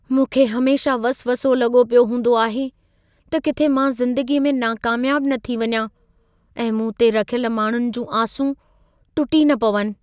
मूंखे हमेशह वसवसो लॻो पियो हूंदो आहे, त किथे मां ज़िंदगीअ में नाकामयाब न थी वञा ऐं मूं ते रखियल माण्हुनि जी आसूं टुटी न पवनि।